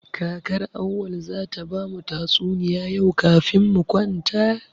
Kakar Auwal zata ba mu tatsuniya yau kafin mu kwanta.